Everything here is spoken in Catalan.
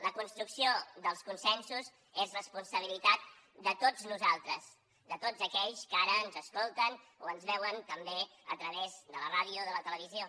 la construc ció dels consensos és responsabilitat de tots nosaltres de tots aquells que ara ens escolten o ens veuen també a través de la ràdio de la televisió